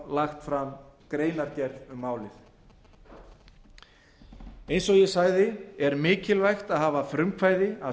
lagt fram greinargerð um málið eins og ég sagði er mikilvægt að hafa frumkvæði að